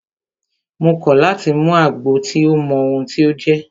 Mo kọ̀ láti mú àgbo tí mi ò mọ ohun tí o jẹ́!